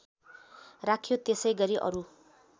राखियो त्यसैगरी अरू